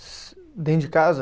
Dentro de casa?